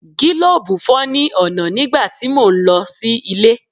Gílòbù fọ́ ní ọ̀nà nígbà tí mò ń lọ sí ilé.